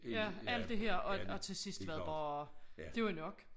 Ja alt det her og og til sidst var det bare det var nok